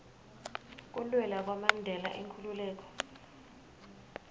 kulwela kwamandela inkhululeko